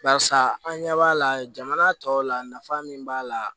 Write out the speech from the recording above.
Barisa an ɲɛ b'a la jamana tɔw la nafa min b'a la